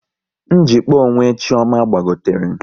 Njikpa onwe Chioma gbagotere